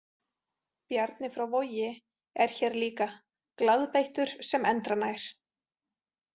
Bjarni frá Vogi er hér líka, glaðbeittur sem endranær.